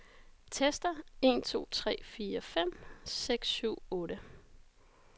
Tester en to tre fire fem seks syv otte.